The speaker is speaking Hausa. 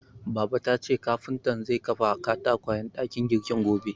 Baba tace kafuntan zai kafa katakwayen dakin girkin gobe.